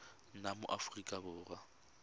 nna mo aforika borwa sa